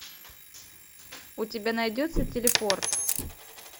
у тебя найдется телепорт